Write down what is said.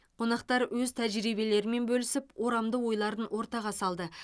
қонақтар өз тәжірибелерімен бөлісіп орамды ойларын ортаға салды